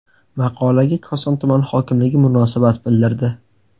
Maqolaga Koson tuman hokimligi munosabat bildirdi.